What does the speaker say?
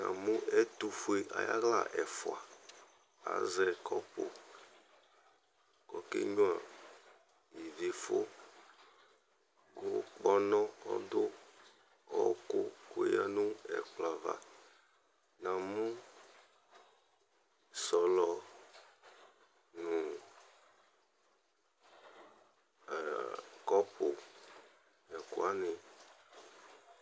Namʋ ɛtʋfue ayʋ aɣla ɛfʋa, azɛ kɔpʋ kʋ ɔkenyuǝ ivifʋ kʋ kpɔnɔ ɔdʋ ɔɣɔkʋ kʋ eyǝ nʋ ɛkplɔ ava Namʋ sɔlɔ nʋ ɛ kɔpʋ nʋ ɛkʋ wanɩ